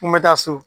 N bɛ taa so